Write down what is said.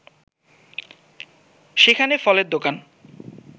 সেখানে ফলের দোকান